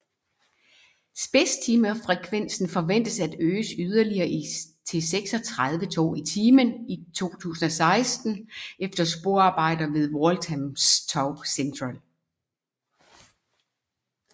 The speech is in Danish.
Spidstimefrekvensen forventes at øges yderligere til 36 tog i timen i 2016 efter sporarbejder ved Walthamstow Central